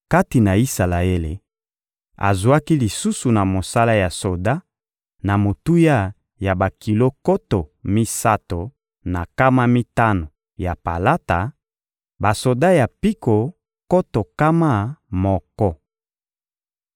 Kati na Isalaele, azwaki lisusu na mosala ya soda, na motuya ya bakilo nkoto misato na nkama mitano ya palata, basoda ya mpiko nkoto nkama moko.